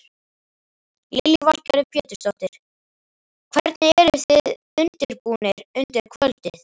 Lillý Valgerður Pétursdóttir: Hvernig eruð þið undirbúnir undir kvöldið?